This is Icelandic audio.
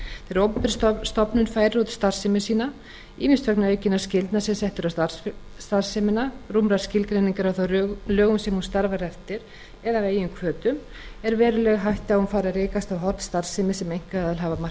þegar opinber stofnun færir út starfsemi sína ýmist vegna aukinna skyldna sem sett eru á starfsemina rúmrar skilgreiningar á þeim lögum sem hún starfar eftir eða af eigin hvötum er veruleg hætta á að hún fari að rekast í horn starfsemi sem einkaaðilar hafa markað